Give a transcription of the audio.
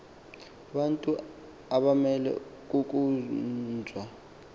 bantu abamele kukhonzwa